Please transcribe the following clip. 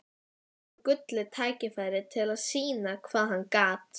Fékk nú gullið tækifæri til að sýna hvað hann gat.